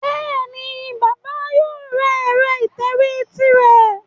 Bẹ́ẹ̀ni, bàbà yóò ra ẹ̀rọ ìtẹ̀wé tirẹ̀